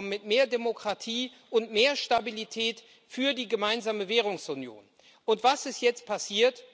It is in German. mit mehr Demokratie und mehr Stabilität für die gemeinsame Währungsunion weiterkommen. Was ist jetzt passiert?